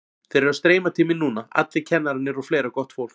Þeir eru að streyma til mín núna allir kennararnir og fleira gott fólk.